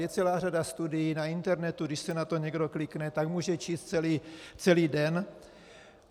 Je celá řada studií na internetu, když si na to někdo klikne, tak může číst celý den.